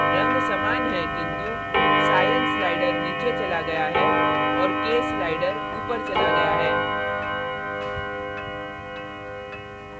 रंग समान हैं किन्तु cyan cyan slider नीचे चला गया है और k slider ऊपर चला गया है